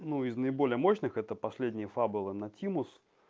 ну из наиболее мощных это последняя фабула на тему